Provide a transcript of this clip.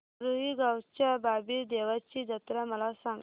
रुई गावच्या बाबीर देवाची जत्रा मला सांग